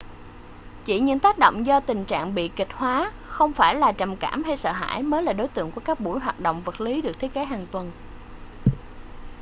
chỉ những tác động do tình trạng bi kịch hóa không phải là trầm cảm hay sợ hãi mới là đối tượng của các buổi hoạt động vật lý được thiết kế hàng tuần